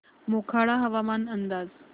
मोखाडा हवामान अंदाज